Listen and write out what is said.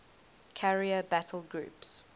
carrier battle groups